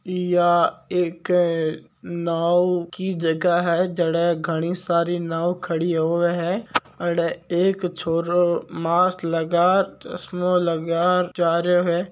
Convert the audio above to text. इया एक नाव की जगह है जडे घणी सारी नाव खड़ी होवे है अडे एक छोरो मास्क लगा चश्मा लगा जा रह्यो है।